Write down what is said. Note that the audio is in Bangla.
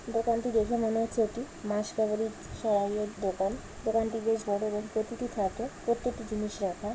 দোকানটি দেখে মনে হচ্ছে একটি মাস কাবাড়ি দোকান। দোকানটি বেশ বড়ো এবং প্রতিটি থাকে প্রত্যেকটি জিনিস রাখা।